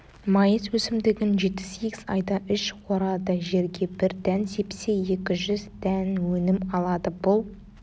майыс өсімдігін жеті-сегіз айда үш орады жерге бір дән сепсе екі жүз дән өнім алады бұл